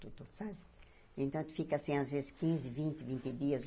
Sabe então, a gente fica assim, às vezes, quinze, vinte, vinte dias.